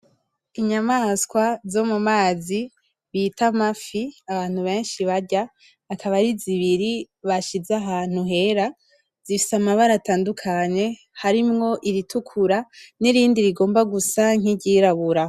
Inyamaswa zo mu mazi bita amafi abantu beshi barya akaba ari zibiri bashize ahantu hera zifise amabara atandukanye harimwo iritukura n'irindi rigomba gusa nk'ryirabura. .